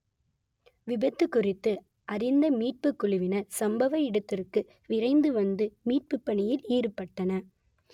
விபத்து குறித்து அறிந்த மீட்புக் குழுவினர் சம்பவ இடத்துக்கு விரைந்து வந்து மீட்பு பணியில் ஈடுபட்டனர்